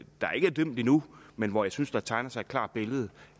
endnu men hvor jeg synes der tegner sig et klart billede